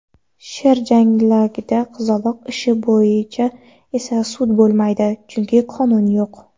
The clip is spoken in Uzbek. sher changalidagi qizaloq ishi bo‘yicha esa sud bo‘lmaydi: chunki qonun yo‘q.